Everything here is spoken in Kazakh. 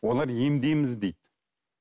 олар емдейміз дейді